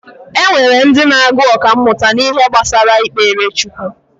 Enwere ndị na-agu ọkammụta n’ihe gbasara ikpere chukwu